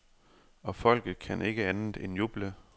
Og folket kan ikke andet end juble.